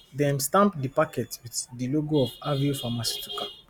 dem stamp di packets with di logo of aveo pharmaceuticals